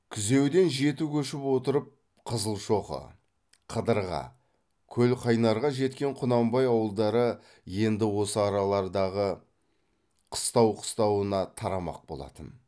күзеуден жеті көшіп отырып қызылшоқы қыдырға көлқайнарға жеткен құнанбай ауылдары енді осы аралардағы қыстау қыстауына тарамақ болатын